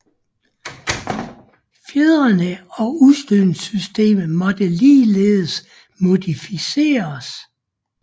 Fjedrene og udstødningssystemet måtte ligeledes modificeres